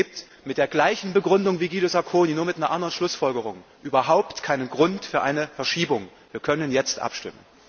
Es gibt mit der gleichen Begründung wie der von Guido Sacconi, nur mit einer anderen Schlussfolgerung überhaupt keinen Grund für eine Verschiebung. Wir können jetzt abstimmen!